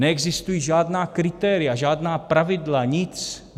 Neexistují žádná kritéria, žádná pravidla, nic.